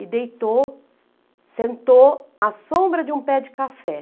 E deitou, sentou à sombra de um pé de café.